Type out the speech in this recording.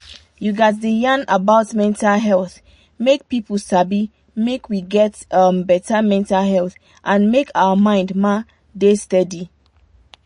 you gats da yan about mental health make pipu sabi make we get um better mental health and make our mind ma da steady.